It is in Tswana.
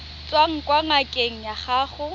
tswang kwa ngakeng ya gago